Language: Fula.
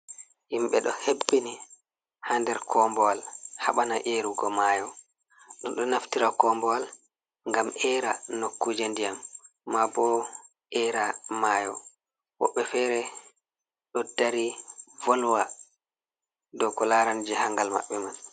Himɓe ɗo hebbini ha nder koobuwal haɓana erugo mayo ɗum ɗo naftira koobuwal ngam era nokkuje ndiyam maabo era mayo woɓɓe fere ɗo dari volwa dou ko larani jahangal maɓɓe man.